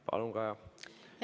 Palun, Kaja!